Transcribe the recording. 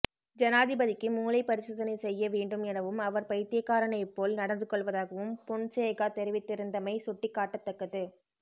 ஜனாதிபதிக்கு மூளை பரிசோதனை செய்ய வேண்டும் எனவும் அவர் பைத்தியகாரனை போல் நடந்து கொள்வதாகவும் பொன்சேகா தெரிவித்திருந்தமை சுட்டிக்காட்டத்தக்கது